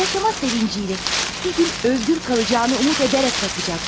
yaşama sevinci ilə, bir gün azad qalacağını ümid edərək baxacaqsan.